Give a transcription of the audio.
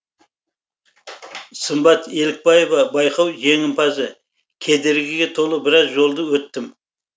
сымбат елікбаева байқау жеңімпазы кедергіге толы біраз жолды өттім